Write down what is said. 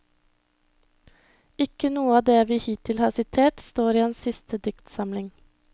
Ikke noe av det vi hittil har sitert står i hans siste diktsamling.